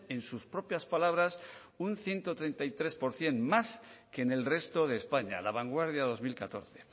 en sus propias palabras un ciento treinta y tres por ciento más que en el resto de españa la vanguardia dos mil catorce